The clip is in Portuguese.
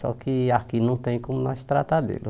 Só que aqui não tem como nós tratar dele.